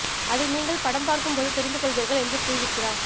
அதை நீங்கள் படம் பார்க்கும் போது தெரிந்து கொள்வீர்கள் என்று கூறியிருக்கிறார்